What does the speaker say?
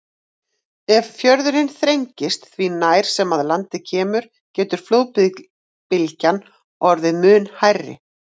Ef fjörðurinn þrengist því nær sem að landi kemur getur flóðbylgjan orðið mun hærri.